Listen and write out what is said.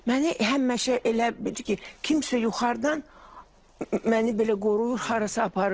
Məni həmişə elə bil ki, kimsə yuxarıdan məni belə qoruyur, harasa aparır.